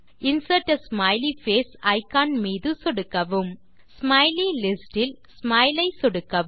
insert a smiley face icon மீது சொடுக்கவும் smiley list இல் ஸ்மைல் ஐ சொடுக்கவும்